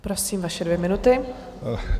Prosím, vaše dvě minuty.